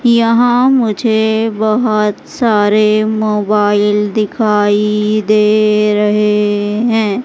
यहां मुझे बहुत सारे मोबाइल दिखाई दे रहे हैं।